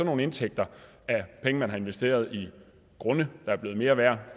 nogle indtægter af penge man har investeret i grunde der er blevet mere værd